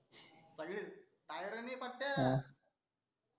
सईर tire नाही पट्या